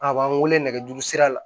A b'an wele nɛgɛjuru sira la